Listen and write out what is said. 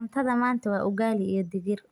Cuntada maanta waa ugaali iyo digir.